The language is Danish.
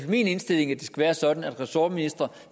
min indstilling at det skal være sådan at en ressortminister